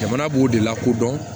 Jamana b'o de lakodɔn